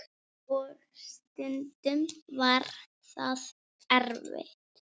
Og stundum var það erfitt.